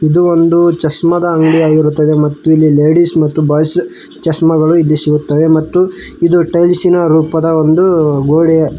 ಇದು ಒಂದು ಚಷ್ಮದ ಅಂಗಡಿಯಾಗಿರುತ್ತದೆ ಮತ್ತು ಇಲ್ಲಿ ಲೇಡಿಸ್ ಮತ್ತು ಬಾಯ್ಸ್ ಚಷ್ಮಗಳು ಇಲ್ಲಿ ಸಿಗುತ್ತವೆ ಮತ್ತು ಇದು ಟೈಲ್ಸ್ ಇನ ರೂಪದ ಒಂದು ಗೋಡೆ.